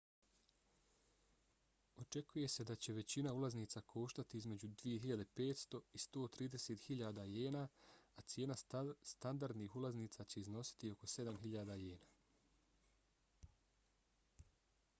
očekuje se da će većina ulaznica koštati između 2.500 i 130.000 jena a cijena standardnih ulaznica će iznositi oko 7.000 jena